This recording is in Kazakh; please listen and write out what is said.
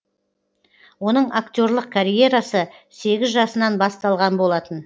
оның актерлық карьерасы сегіз жасынан басталған болатын